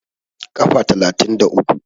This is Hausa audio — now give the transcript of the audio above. Kafa talatin da uku